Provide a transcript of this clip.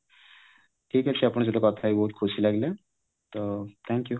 ଠିକ ଅଛି ଆପଣଙ୍କ ସହିତ କଥା ହେଇ ବହୁତ ଖୁସି ଲାଗିଲା ତ thank you